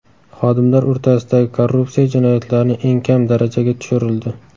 Xodimlar o‘rtasidagi korrupsiya jinoyatlarni eng kam darajaga tushirildi.